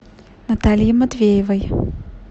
наталье матвеевой